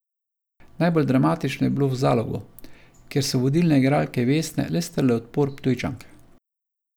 Najbolj dramatično je bilo v Zalogu, kjer so vodilne igralke Vesne le strle odpor Ptujčank.